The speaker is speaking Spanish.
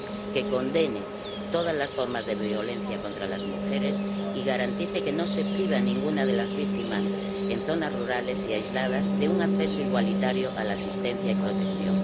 que condene todas las formas de violencia contra las mujeres y garantice que no se prive a ninguna de las víctimas en zonas rurales y aisladas de un acceso igualitario a la asistencia y protección